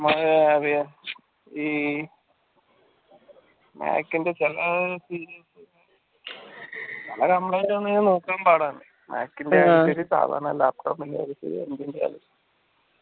പിന്നെന്ത പറയാ ഈ mac ൻറെ ചില complaint വന്നാൽ നോക്കാൻ പാടാണ് mac ന്റെ ആയാലും ശരി സാദാരണ laptop ൻറെത് ആയാലും ശരി